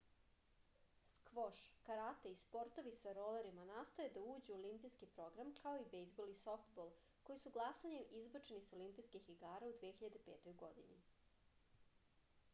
skvoš karate i sportovi sa rolerima nastoje da uđu u olimpijski program kao i bejzbol i softbol koji su glasanjem izbačeni sa olimpijskih igara u 2005. godini